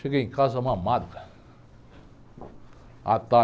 Cheguei em casa mamado, cara.